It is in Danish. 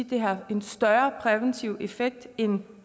de har en større præventiv effekt end